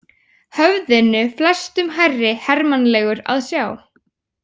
Höfðinu flestum hærri hermannlegur að sjá.